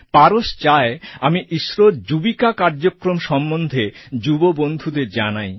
পারস চায় আমি ইসরোর ইসরো যুবিকা কার্যক্রম সম্বন্ধে যুব বন্ধুদের জানাই